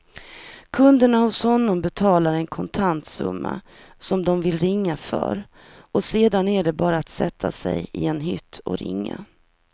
Kunderna hos honom betalar en kontantsumma som de vill ringa för och sedan är det bara att sätta sig i en hytt och ringa.